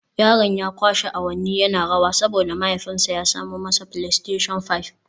Yaron ya kwashe awanni yana rawa saboda mahaifinsa ya samo masa Playstation Five